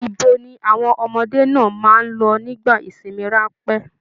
Ibo ni àwọn ọmọdé náà máa n lọ nígbà ìsinmi ranpẹ̀?